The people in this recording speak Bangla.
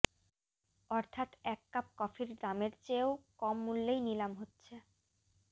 অর্থাৎ এক কাপ কফির দামের চেয়েও কম মূল্যেই নিলাম হচ্ছে